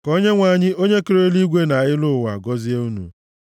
Ka Onyenwe anyị onye kere eluigwe na elu ụwa gọzie unu.